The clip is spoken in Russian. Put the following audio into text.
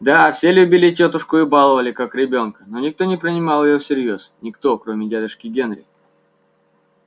да все любили тётушку и баловали как ребёнка но никто не принимал её всерьёз никто кроме дядюшки генри